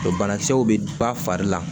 Banakisɛw bɛ ba fari la